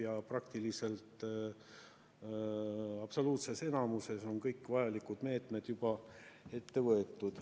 Ja praktiliselt absoluutses enamuses on kõik vajalikud meetmed juba ette võetud.